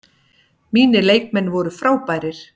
Mínir leikmenn voru frábærir.